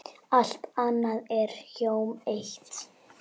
Allt annað er hjóm eitt.